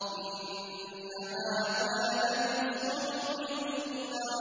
إِنَّ هَٰذَا لَفِي الصُّحُفِ الْأُولَىٰ